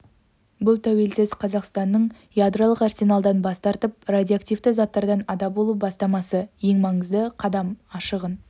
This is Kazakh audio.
бұл тәуелсіз қазақстанның ядролық арсеналдан бас тартып радиоактивті заттардан ада болу бастамасы ең маңызды қадам ашығын